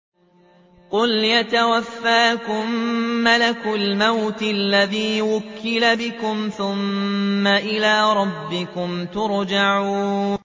۞ قُلْ يَتَوَفَّاكُم مَّلَكُ الْمَوْتِ الَّذِي وُكِّلَ بِكُمْ ثُمَّ إِلَىٰ رَبِّكُمْ تُرْجَعُونَ